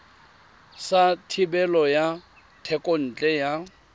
sa thebolo ya thekontle ya